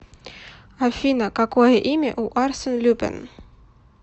афина какое имя у арсен люпен